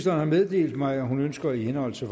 har meddelt mig at hun ønsker i henhold til